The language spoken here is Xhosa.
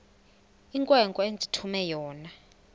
inkwenkwe endithume yona